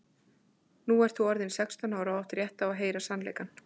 Nú ert þú orðin sextán ára og átt rétt á því að heyra sannleikann.